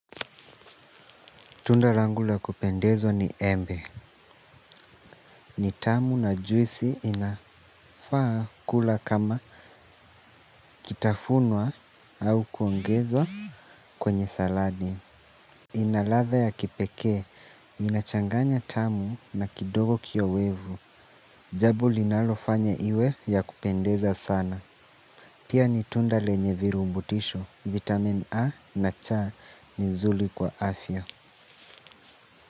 Tunda langu la kupendezwa ni embe. Ni tamu na juisi inafaa kula kama kitafunwa au kuongeza kwenye saladi. Inaladha ya kipekee, inachanganya tamu na kidogo kiowevu. Jambo linalofanya iwe ya kupendeza sana. Pia ni tunda lenye virubutisho vitamin A na cha ni zuri kwa afya.